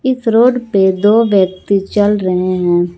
इस रोड पे दो व्यक्ति चल रहे हैं।